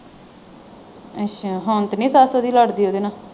ਅੱਛਾ ਹੁਣ ਤਾਂ ਨਹੀਂ ਸੱਸ ਉਹਦੀ ਲੜਦੀ ਉਹਦੇ ਨਾਲ।